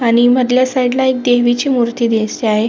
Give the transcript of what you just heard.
आणि मदल्या साइडला देवी ची मूर्ती दिसते आहे.